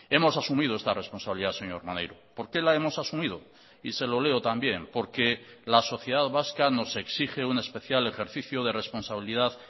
hemos asumido esta responsabilidad señor maneiro por qué la hemos asumido y se lo leo también porque la sociedad vasca nos exige un especial ejercicio de responsabilidad